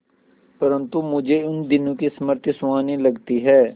परंतु मुझे उन दिनों की स्मृति सुहावनी लगती है